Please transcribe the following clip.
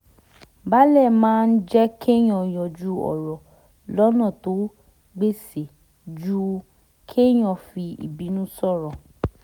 balẹ̀ máa ń jẹ́ kéèyàn yanjú ọ̀rọ̀ lọ́nà tó gbéṣẹ́ ju kéèyàn fi ìbínú sọ̀rọ̀